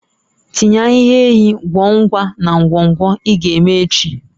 Tinye ahihia enyi kwọ nwa na ngwọngwọ ị ga-eme echi